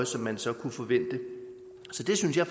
som man så kunne forvente så det synes jeg